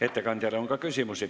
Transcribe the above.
Ettekandjale on ka küsimusi.